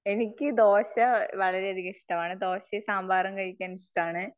എനിക്ക് ദോശ വളരെ അധികം ഇഷ്ടമാണ്. ദോശയും സാമ്പാറും കഴിക്കാൻ ഇഷ്ടമാണ്.